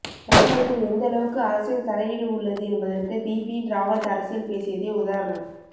ராணுவத்தில் எந்தளவுக்கு அரசியல் தலையீடு உள்ளது என்பதற்கு பிபின் ராவத் அரசியல் பேசியதே உதாரணம்